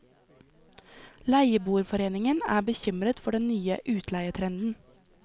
Leieboerforeningen er bekymret for den nye utleietrenden.